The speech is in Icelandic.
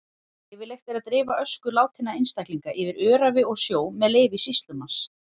Leyfilegt er að dreifa ösku látinna einstaklinga yfir öræfi og sjó með leyfi sýslumanns.